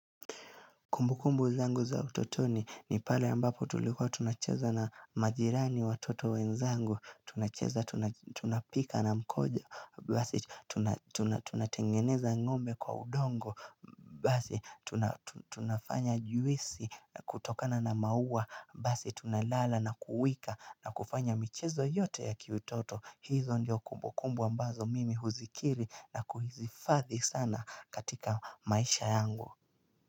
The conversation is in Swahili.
Kumbukumbu zangu za utotoni ni pale ambapo tulikuwa tunacheza na majirani watoto wenzangu tunacheza tunapika na mkojo. Basi tunatengeneza ngombe kwa udongo Basi tunafanya juisi kutokana na maua Basi tunalala nakuwika na kufanya michezo yote ya kiutoto. Hizo ndio kumbukumbu ambazo mimi huzikiri na kuhizifadhi sana katika maisha yangu.